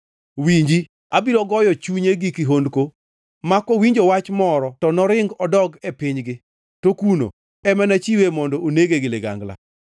Winji! Abiro goyo chunye gi kihondko ma kowinjo wach moro to noring odog e pinygi, to kuno ema nachiwe mondo onege gi ligangla.’ ”